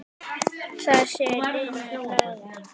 Þar séu línur lagðar.